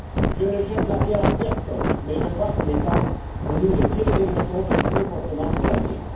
Je ne jette la pierre à personne, mais je crois qu'il est temps pour nous de tirer les leçons de ces comportements pour l'avenir.